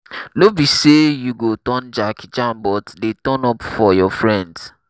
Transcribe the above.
no be sey you go turn jackie chan but dey turn up for your friends